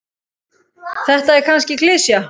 Þetta er kannski klisja.